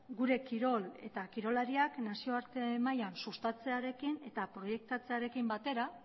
gure kirol eta kirolariak nazioarte mailan sustatzearekin eta proiektatzearekin batera